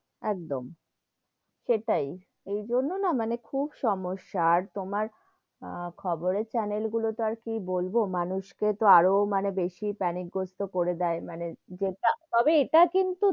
একদম,